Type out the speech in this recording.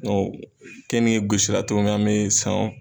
kɛ ni gosira togo min an be san o